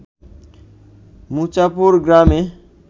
মুছাপুর গ্রামে